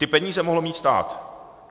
Ty peníze mohl mít stát.